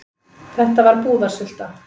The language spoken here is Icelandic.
Þetta var búðarsulta.